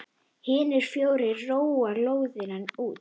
Hinir fjórir róa lóðina út.